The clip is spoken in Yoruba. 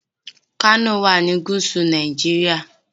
Kano wà ní gúúsù Nàìjíríà.